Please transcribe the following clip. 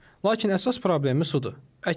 Lakin əsas problemi sudur.